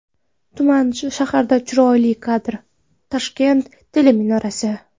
Tumanli shahardan chiroyli kadr: Toshkent teleminorasi .